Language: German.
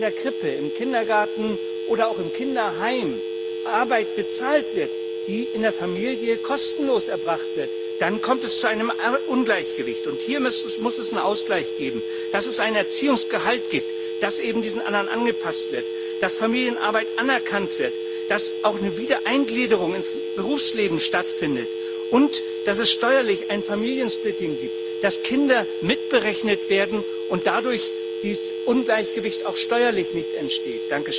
Wenn in der Krippe, im Kindergarten oder auch im Kinderheim Arbeit bezahlt wird, die in der Familie kostenlos erbracht wird, dann kommt es zu einem Ungleichgewicht, und hier muss es einen Ausgleich geben dass es ein Erziehungsgehalt gibt, das eben diesen anderen angepasst wird, dass Familienarbeit anerkannt wird, dass auch eine Wiedereingliederung ins Berufsleben stattfindet und dass es steuerlich ein Familiensplitting gibt, dass Kinder mitberechnet werden und dadurch dieses Ungleichgewicht auch steuerlich nicht entsteht.